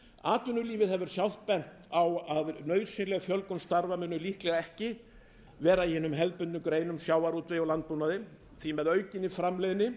atvinnulífið hefur sjálft bent á að nauðsynleg fjölgun starfa muni líklega ekki verða í hinum hefðbundnu greinum sjávarútvegi og landbúnaði því að með aukinni framleiðni